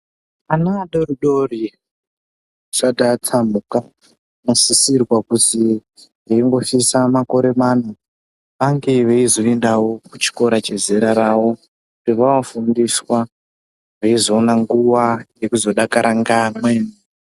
Vana vadoridori vasati vatsamuka vanosisirwa kuzii veingosvitsa makore mana ange veizoendawo kuchikora chezera ravo vanofundiswa veizoona nguwa yokuzodakara ngamweni .